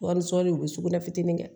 Wari sɔr'i u bɛ sugunɛ fitinin kɛ